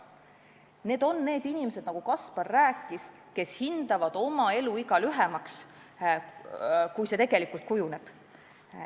Need on need inimesed, kes, nagu Kaspar rääkis, hindavad oma eluiga lühemaks, kui see tegelikult kujuneb.